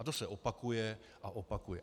A to se opakuje a opakuje.